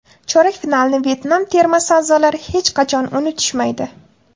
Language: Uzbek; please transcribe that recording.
Chorak finalni Vyetnam termasi a’zolari hech qachon unutishmaydi.